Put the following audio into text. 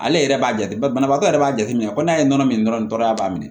Ale yɛrɛ b'a jateminɛ banabaatɔ yɛrɛ y'a jateminɛ ko n'a ye nɔnɔ minɛ dɔrɔn a b'a minɛ